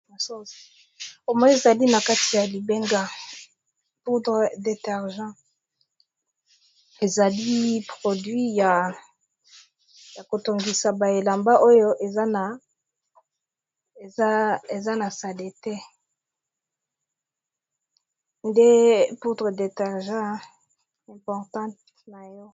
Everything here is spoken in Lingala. Namoni ezali na kati ya libenga poudre detargent ezali produit ya kosokola bilamba oyo eza na sadete nde poudre detargen importante na yo.